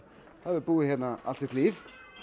hefur búið hérna allt sitt líf